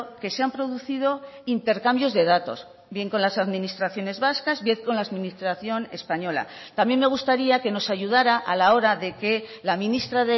que se han producido intercambios de datos bien con las administraciones vascas bien con la administración española también me gustaría que nos ayudara a la hora de que la ministra